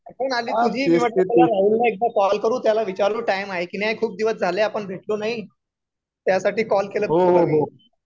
अरे आठवण आठवण आली तुझी मग म्हटलं चला राहुल ला एकदा कॉल करू त्याला विचारू टाईम आहे की नाही आहे खूप दिवस झाले आपण भेटलो नाही त्यासाठी कॉल केला तुला मी